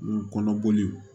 U kɔnɔ boli